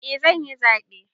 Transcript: Eh zanyi zaɓe